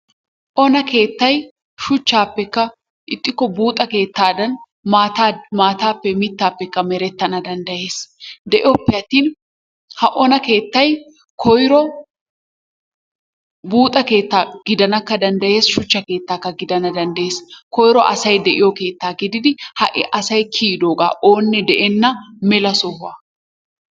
Ona keettay shuchchaappekka ixxikko buuxa keettaadan maataappe mittaappekka merettana danddayees. De"oppe attin ha ona keettay koyiro buuxa keettaa gidanakka danddayees shuchcha keettaakka gidana danddayees. Koyiro asay de"idoogaa gididi ha"i asay kiyidoogaa oonne de"enna mela sohuwaa.